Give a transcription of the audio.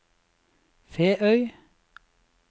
Feøy